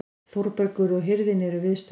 Þórbergur og hirðin eru viðstödd.